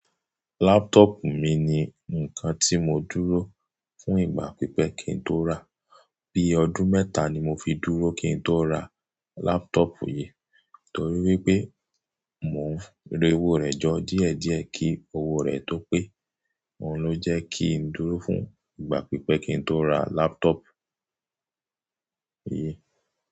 Laptop mi ni nǹkan tí mo dúró fún ìgbà pípẹ́ kí n tó rà. Bí ọdún mẹ́ta ni mo fi dúró kí ń to ra laptop yìí, torí wí pé mò ń rẹ owó rẹ̀ jọ díẹ̀díẹ̀ kí owó rẹ̀ tó pé. Óun ló jẹ́ kí ń dúró fún ìgbà pípẹ́ kí ń tó ra laptop yìí.